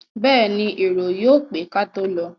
Bẹ́ẹ̀ni, èrò yóò pé kátó lọ.